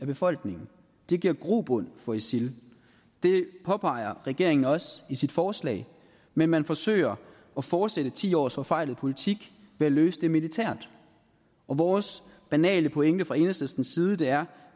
befolkningen det giver grobund for isil det påpeger regeringen også i sit forslag men man forsøger at fortsætte ti års forfejlet politik ved at løse det militært vores banale pointe fra enhedslistens side er